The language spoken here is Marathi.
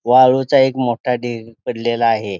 वाळूचा एक मोठा ढीग पडलेला आहे.